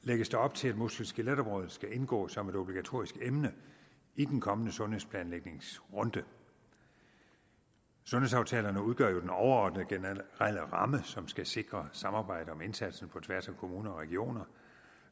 lægges der op til at muskel skelet området skal indgå som et obligatorisk emne i den kommende sundhedsplanlægningsrunde sundhedsaftalerne udgør jo den overordnede generelle ramme som skal sikre samarbejde om indsatsen på tværs af kommuner og regioner